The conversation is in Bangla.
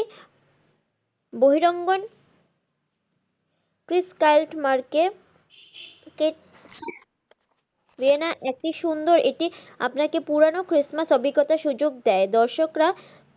বহিরঙ্গন crist style মারকে একটি সুন্দর একটি আপনাকে পুরান christmas অভিজ্ঞ তাএর সুজগ দেই দরশর রা